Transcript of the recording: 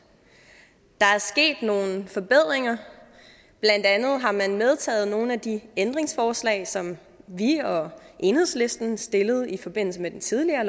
der er sket nogle forbedringer blandt andet har man medtaget nogle af de ændringsforslag som vi og enhedslisten stillede i forbindelse med det tidligere